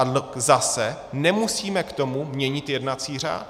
A zase - nemusíme k tomu měnit jednací řád.